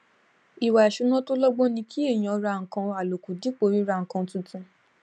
ìwà ìṣúná tó lọgbọn ni kí èèyàn rà nǹkan aloku dípò ríra nǹkan tuntun